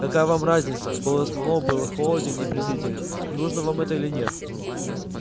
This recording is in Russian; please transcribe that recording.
какая вам разница голос мэллоу был холоден и презрителен нужно вам это или нет